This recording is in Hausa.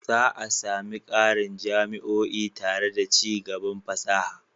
Za a sami ƙarin jami'o'i tare da ci gaban fasaha.